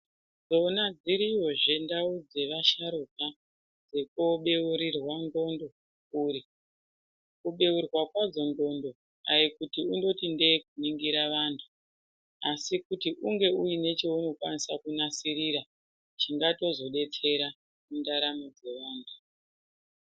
Dzona dziriyozve ndau dzevasharuka dzokobeurirwa ndxondo dzikure. Kubeurwa kwadzo ndxondo aikundoti ndee kuningira vantu, asi kuti unge uine cheunokwanisa kunasirira, chingatozodetsera mundaramo dzevanthu.